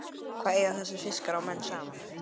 Hvað eiga þessir fiskar og menn sameiginlegt?